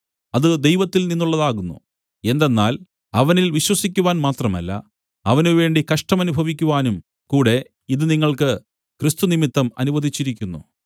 അത് ദൈവത്തിൽ നിന്നുള്ളതാകുന്നു എന്തെന്നാൽ അവനിൽ വിശ്വസിക്കുവാൻ മാത്രമല്ല അവനുവേണ്ടി കഷ്ടം അനുഭവിക്കുവാനും കൂടെ ഇത് നിങ്ങൾക്ക് ക്രിസ്തുനിമിത്തം അനുവദിച്ചിരിക്കുന്നു